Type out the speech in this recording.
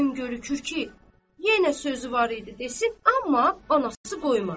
Qızın görükür ki, yenə sözü var idi desin, amma anası qoymadı.